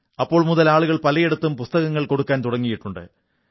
അപ്പോൾ മുതൽ ആളുകൾ പലയിടത്തും പുസ്തകങ്ങൾ കൊടുക്കാൻ തുടങ്ങിയിട്ടുണ്ട്